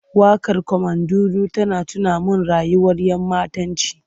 Waƙar Carmandudu tana tuna min rayuwar ‘yammatanci.